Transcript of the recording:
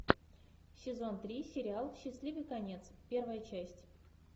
сезон три сериал счастливый конец первая часть